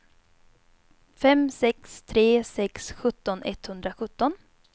fem sex tre sex sjutton etthundrasjutton